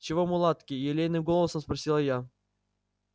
чего мулатки елейным голосом спросила я